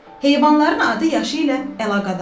Heyvanların adı yaşı ilə əlaqədardır.